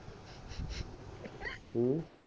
ਹਮ